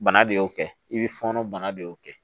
Bana de y'o kɛ i bɛ fɔɔnɔ bana de y'o kɛ